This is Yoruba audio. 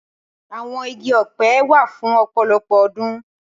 Awọn igi ọpẹ wa fun ọpọlọpọ ọdun.